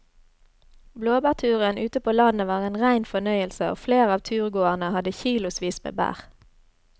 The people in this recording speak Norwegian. Blåbærturen ute på landet var en rein fornøyelse og flere av turgåerene hadde kilosvis med bær.